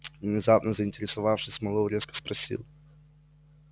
внезапно заинтересовавшись мэллоу резко спросил